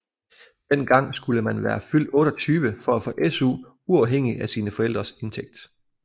Den gang skulle man være fyldt 28 for at få SU uafhængigt af sine forældrenes indtægt